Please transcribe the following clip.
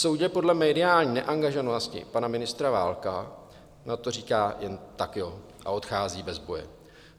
Soudě podle mediální neangažovanosti pana ministra Válka, na to říká jen "tak jo" a odchází bez boje.